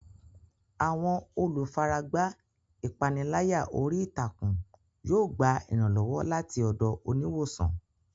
Àwọn olùfaragbá ìpániláyà orí ìtàkùn yóò gba ìrànlọ́wọ́ láti ọ̀dọ̀ oníwòsàn.